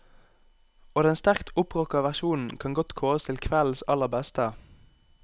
Og den sterkt opprocka versjonen kan godt kåres til kveldens aller beste.